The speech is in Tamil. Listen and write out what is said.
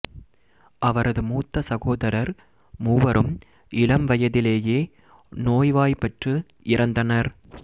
அவரது மூத்த சகோதரர் மூவரும் இளம் வயதிலேயே நோய்வாய்ப்பட்டு இறந்தனர்